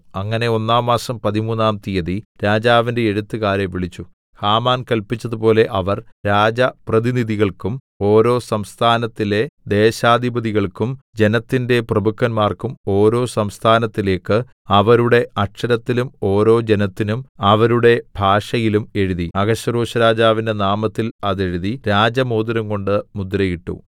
അങ്ങനെ ഒന്നാം മാസം പതിമൂന്നാം തീയതി രാജാവിന്റെ എഴുത്തുകാരെ വിളിച്ചു ഹാമാൻ കല്പിച്ചതുപോലെ അവർ രാജപ്രതിനിധികൾക്കും ഓരോ സംസ്ഥാനത്തിലെ ദേശാധിപധികൾക്കും ജനത്തിന്റെ പ്രഭുക്കന്മാർക്കും ഓരോ സംസ്ഥാനത്തിലേക്ക് അവരുടെ അക്ഷരത്തിലും ഓരോ ജനത്തിനും അവരുടെ ഭാഷയിലും എഴുതി അഹശ്വേരോശ്‌രാജാവിന്റെ നാമത്തിൽ അതെഴുതി രാജമോതിരംകൊണ്ട് മുദ്ര ഇട്ടു